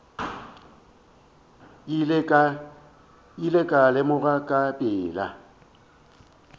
ile ka lemoga ka pela